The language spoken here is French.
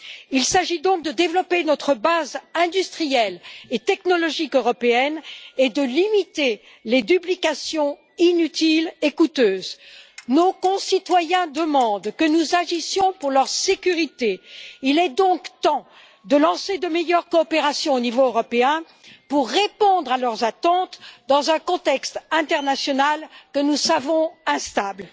Il s'agit donc de développer notre base industrielle et technologique européenne et de limiter les duplications inutiles et coûteuses. Nos concitoyens demandent que nous agissions pour leur sécurité. Il est donc temps de lancer de meilleures coopérations au niveau européen pour répondre à leurs attentes dans un contexte international que nous savons instable.